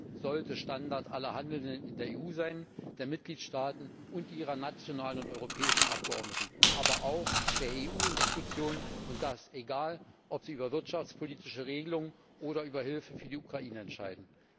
Das sollte Standard aller Handelnden in der EU sein, der Mitgliedstaaten und ihrer nationalen und europäischen Abgeordneten, aber auch der EU Institutionen, und das unabhängig davon, ob sie über wirtschaftspolitische Regelungen oder über Hilfe für die Ukraine entscheiden.